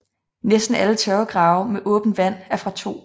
Næsten alle tørvegrave med åbent vand er fra 2